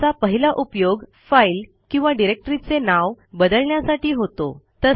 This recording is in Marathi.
ज्याचा पहिला उपयोग फाईल किंवा डिरेक्टरीचे नाव बदलण्यासाठी होतो